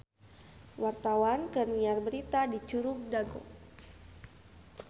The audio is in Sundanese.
Wartawan keur nyiar berita di Curug Dago